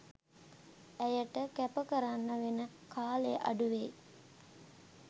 ඇයට කැප කරන්න වෙන කාලය අඩුවෙයි